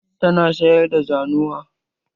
Tana sayar da zanuwa?